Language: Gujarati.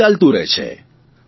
આવું ચાલતું રહે છે